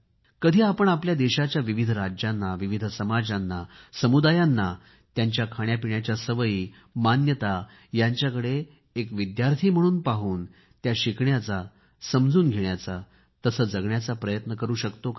कधी आपण आपल्या देशाच्या विविध राज्यांना विविध समाजांना समुदायांना त्यांच्या खाण्यापिण्याच्या सवयी यांच्याकडे एक विद्यार्थी म्हणून पाहून त्या शिकण्याचा समजून घेण्याचा तसे जगण्याचा प्रयत्न करू शकतो का